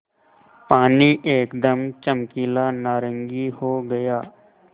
पानी एकदम चमकीला नारंगी हो गया